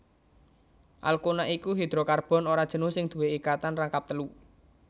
Alkuna iku hidrokarbon ora jenuh sing duwé ikatan rangkap telu